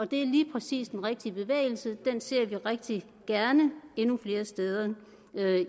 det er lige præcis den rigtige bevægelse den ser vi rigtig gerne endnu flere steder